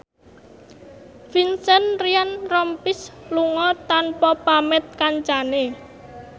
Vincent Ryan Rompies lunga tanpa pamit kancane